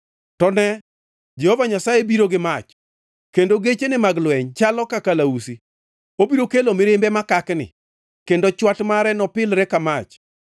To nee, Jehova Nyasaye biro gi mach, kendo gechene mag lweny chalo ka kalausi; obiro kelo mirimbe makakni, kendo chwat mare nopilre ka mach.